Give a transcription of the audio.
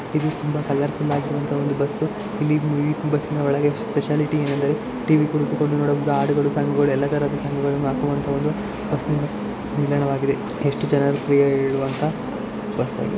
ಇದು ತುಂಬಾ colourful ಆಗಿರೋ ಅಂತಹ ಒಂದು ಬಸ್ಸು ಈ ಈ ಬಸ್ ನ ಒಳಗೆ ಸ್ಪೆಸಿಯಾಲಿಟಿ ಏನ್ ಅಂದರೆ ಟಿ_ವಿ ಕುಳಿತುಕೊಂಡು ನೋಡುವುದು ಹಾಡುಗಳು ಸಾಂಗ್ ಗುಗಳು ಆಕುವಂತಹುದು ಬಸ್ಸಿ ನ ನಿಲ್ದಾಣ ವಾಗಿದೆ ಎಷ್ಟು ಜನ ಫ್ರೀ ಯಾಗಿ ಇಳಿಯುವಂತಹ ಬಸ್ ಅದು